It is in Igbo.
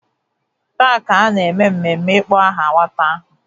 Taa ka a na-eme mmemme ịkpọ aha nwata ahụ.